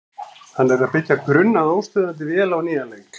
Hann er að byggja grunn að óstöðvandi vél á nýjan leik.